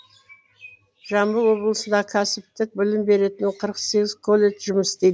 жамбыл облысында кәсіптік білім беретін қырық сегіз колледж жұмыс істейді